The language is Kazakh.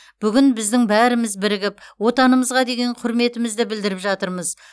бүгін біздің бәріміз бірігіп отанымызға деген құрметімізді білдіріп жатырмыз